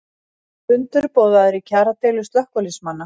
Fundur boðaður í kjaradeilu slökkviliðsmanna